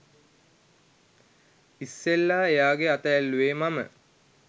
ඉස්සෙල්ලා එයාගෙ අත ඇල්ලුවෙ මම